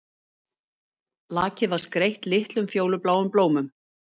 Lakið var skreytt litlum fjólubláum blómum